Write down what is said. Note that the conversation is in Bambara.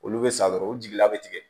Olu bɛ sa dɔrɔn u jigila bɛ tigɛ